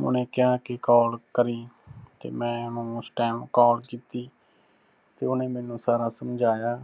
ਉਹਨੇ ਕਿਹਾ ਕਿ call ਕਰੀਂ, ਤੇ ਮੈਂ ਉਹਨੂੰ ਉਸ time call ਕੀਤੀ। ਤੇ ਉਹਨੇ ਮੈਨੂੰ ਸਾਰਾ ਸਮਝਾਇਆ